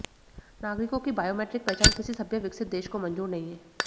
नागरिकों की बायोमैट्रिक पहचान किसी सभ्य विकसित देश को मंजूर नहीं है